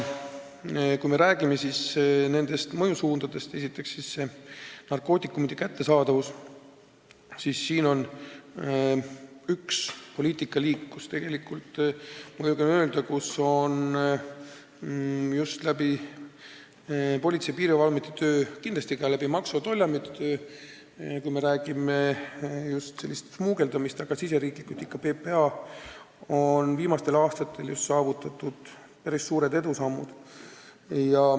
Kui me räägime nendest mõjusuundadest, esiteks narkootikumide kättesaadavusest, siis on üks poliitikaliik, kus tegelikult, ma julgen öelda, on just Politsei- ja Piirivalveameti töö tõttu ja kindlasti ka Maksu- ja Tolliameti töö tõttu, kui me räägime smugeldamisest, aga riigisiseselt ikka PPA töö tõttu viimastel aastatel saavutatud päris suuri edusamme.